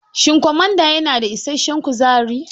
Shin kwamada ya na da isashen kuzari?